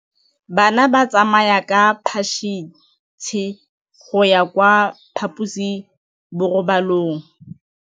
Bana ba tsamaya ka phašitshe go ya kwa phaposiborobalong.